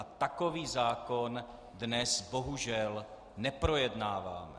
A takový zákon dnes bohužel neprojednáváme.